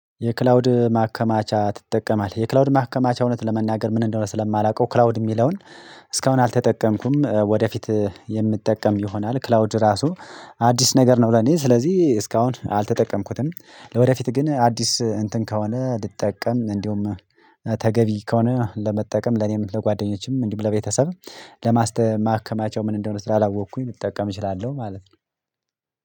የክላውድ ማከማቻ ትጠቀማለህ? የክላውድ ማከማቻ እውነት ለመናገር ምን እንደሆነ ስለማላውቀው ክላውድ የሚለውን እስካሁን አልተጠቀምኩም ወደፊት የምትጠቀም ይሆናል ክላውድ ራሱ አዲስ ነገር ነው ለኔ ስለዚህ እስካሁን አልተጠቀምኩትም ለወደፊት ግን አዲስ እንትን ከሆነ ልጠቀም እንዲሁም ተገቢ ከሆነ ለመጠቀም ለኔም ለጓደኞቼም እንዲሁም ለቤተሰብ ለማስተ ማከማቻው ምን እንደሆነ ስላላወቅኩኝም ልጠቀም እችላለሁ ማለት ነው